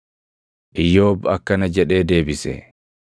Iyyoob akkana jedhee deebise: